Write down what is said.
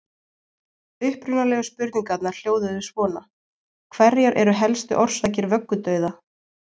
Upprunalegu spurningarnar hljóðuðu svona: Hverjar eru helstu orsakir vöggudauða?